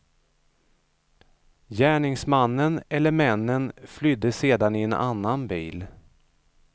Gärningsmannen eller männen flydde sedan i en annan bil.